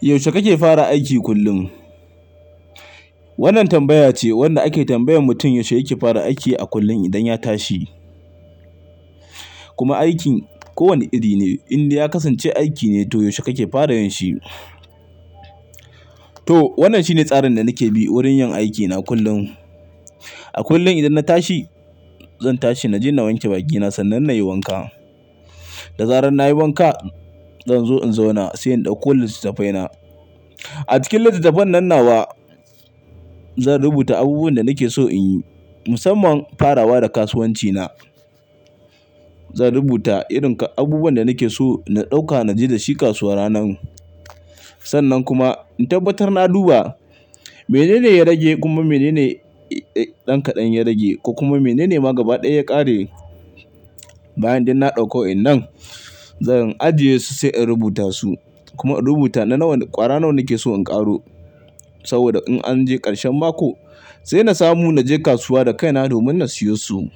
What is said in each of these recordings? Yaushe kake fara aiki kullum? Wannan tambaya ce wanda ake tambayan mutum yaushe yake fara aiki a kullum idan ya tashi. Kuma aikin ko wane iri ne, inda ya kasance aiki ne to yaushe kake fara yanshi. To wannan shine tsarin da nake bi wurin yin aikina kullum. A kullum idan na tashi, zan tashi naje na wanke bakina sannan na yi wanka. Da zarar na yi wanka, zan zo in zauna sai indakko littafai na. A cikin littattafan nan nawa, zan rubuta abubuwan da nake so in yi, musamman farawa da kasuwanci na. Zan rubuta irin abubuwan da nake so na ɗauka naje da shi kasuwa ranan. Sannan kuma in tabbatar na duba menene ya rage kuma menene ɗan kaɗan ya rage, kuma menene ma gaba ɗaya ya ƙare. Bayan duk na ɗauki wayen nan zan ajiye su sai in rubuta su. Kuma in rubuta na wane ƙwara nake so in ƙaro. Saboda in an je ƙarshen mako sai na samu naje kasuwa da kaina domin na siyo su.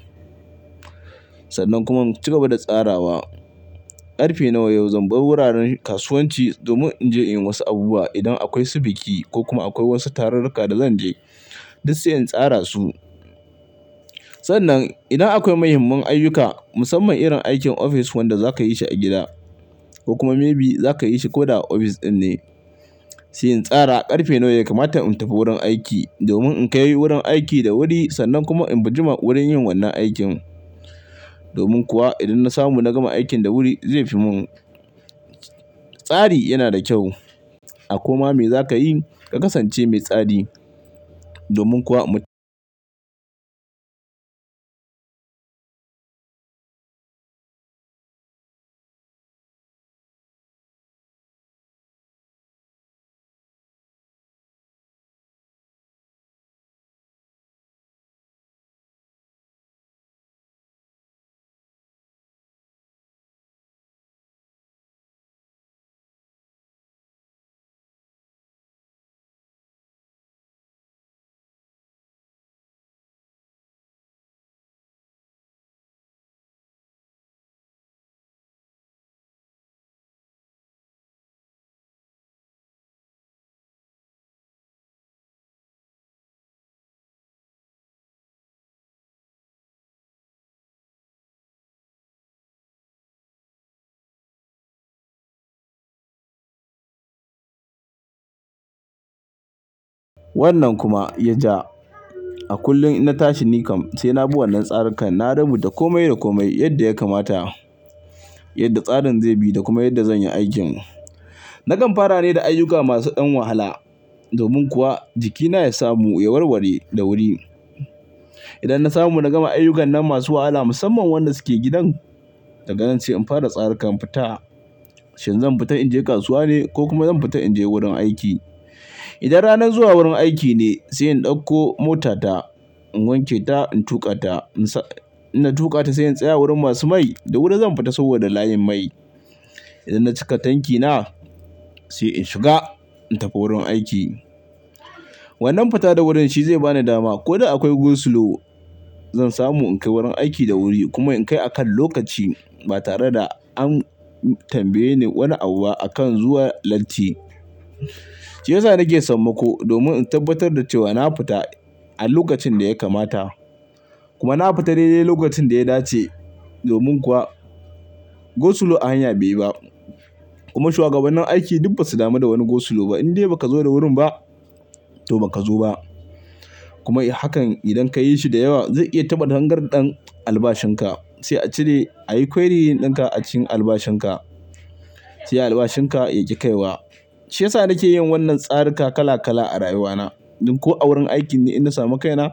Sannan kuma in ci gaba da tsarawa. Karfe nawa yau zan bar wuraren kasuwanci domin in je inyi wasu abubuwa idan akwai su biki ko kuma akwai wasu tarurruka da zan je, duk sai in tsara su. Sannan idan akwai muhimman ayyuka, musamman irin aikin ofis wanda za ka yi shi a gida ko kuma maybe za ka yi shi ko da a ofis ɗin ne, sai in tsara ƙarfe nawa ya kamata in tafi wurin aiki domin in kai wurin aiki da wuri sannan kuma in bi jima wurin yin wannan aikin. Domin kuwa idan na samu na gama aikin da wuri zai fi mun. Tsari yana da kyau. A koma me za ka yi ka kasance mai tsari. Domin kuwa mu wannan kuma ya ja. A kullum idan na tashi ni kam sai na bi wannan tsarikan. Na rubuta komai da komai yadda ya kamata, yadda tsarin zai bi da kuma yadda zan yi aikin. Nakan fara ne da ayyuka masu ɗan wahala. Domin kuwa jikina ya samu ya warware da wuri. Idan na samu na gama ayyukan nan masu wahala musamman wanda suke gidan, daga nan se in fara tsarikan fita. Shin zan fita in je kasuwa ne ko kuma zan fita in je wurin aiki? Idan ranar zuwa wurin aiki ne sai in ɗauko motata, in wanke ta, in tuƙa ta. Na tuƙa ta sai in tsaya wurin masu mai da wuri zan fita saboda layin mai. Idan na cika tankina sai in shiga in tafi wurin aiki. Wannan fita da wurin shi zai ba ni dama ko da akwai go-slow zan samu in kai wurin aiki da wuri kuma in kai akan lokaci ba tare da an tambaye ni wani abu akan zuwa latti. Shi yasa nake samma ko domin in tabbatar da cewa na fita a lokacin da ya kamata. Kuma na fita daidai lokacin da ya dace. Domin kuwa go-slow a hanya bai ba. Kuma shugabannin aiki duk ba su damu da wani go-slow ba. Indai ba ka zo da wurin ba to ba ka zo ba. Kuma idan haka idan ka yi shi da yawa zai iya taɓa tangarɗen albashin ka. Sai a cire ayi kwari ɗin ka a cikin albashin ka. Sai albashin ka ya ki kai wa. Shi yasa nake yin wannan tsarika kala kala a rayuwa na. Ko a wurin aiki ne idan na samu kaina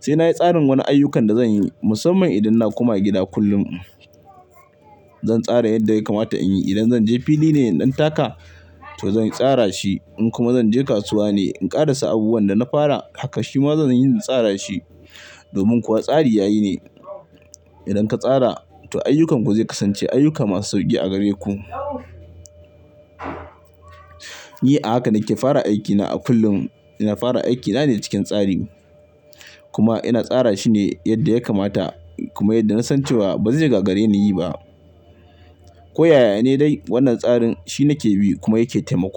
sai na yi tsarin wane ayyukan da zan yi musamman idan na koma gida kullum. Zan tsara yadda ya kamata in yi. Idan zan je fili ne ɗan taka to zan tsara shi. In kuma zan je kasuwa ne in ƙara sa abubuwan da na fara haka shi ma zan yi na tsara shi. Domin kuwa tsari yayi ne. Idan ka tsara to ayyukanku zai kasance ayyuka masu sauƙi a gare ku. Ni a haka nake fara aikina a kullum. Ina fara aikina ne cikin tsari. Kuma ina tsara shi ne yadda ya kamata kuma yadda na san cewa ba zai gaga gare ni yi ba. Ko yaya ne dai wannan tsarin shi nake bi kuma yake taimako.